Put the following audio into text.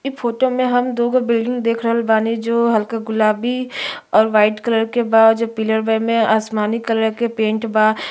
इ फोटो मे हम दो गो बिल्डिंग देख रहल बानी जो हल्का गुलाबी और वाइट कलर के बा जो पीलर वे मे आसमानी कलर के पेंट बा।